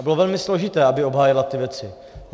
A bylo velmi složité, aby obhájila ty věci.